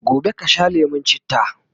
gobe kasha lemun chitta!